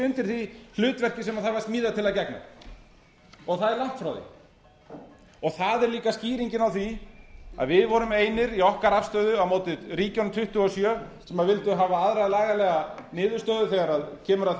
undir því hlutverki sem það var smíðað til að gegna og það er langt frá því það er líka skýringin á því að við vorum einir í okkar afstöðu á móti ríkjunum tuttugu og sjö sem vildu hafa aðra lagalega niðurstöðu þegar kemur